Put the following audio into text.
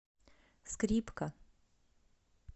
скрипка